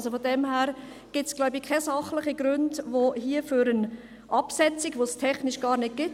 Insofern liegen wohl keine sachlichen Gründe vor für eine Absetzung, die es technisch gar nicht gibt;